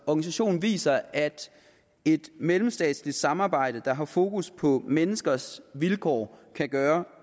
organisationen viser at et mellemstatsligt samarbejde der har fokus på menneskers vilkår kan gøre